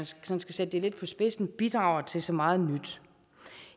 skal sætte det lidt på spidsen bidrager til så meget nyt